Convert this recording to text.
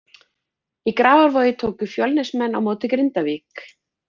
Í Grafarvogi tóku Fjölnismenn á móti Grindavík.